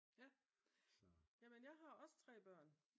Ja jamen jeg har også 3 børn